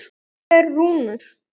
Þetta eru rúnir.